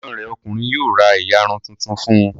Ẹ̀gbọ́n rẹ̀ ọkùnrin yóò ra ìyarun tuntun fún un.